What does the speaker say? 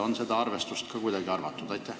Kas sellist arvestust on ka kuidagi tehtud?